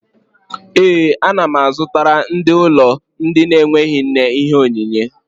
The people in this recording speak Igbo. Ee, a na m azụtakarị ndị ụlọ ndị na-enweghị nne ihe onyinyé